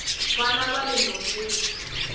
vana vale nhoveni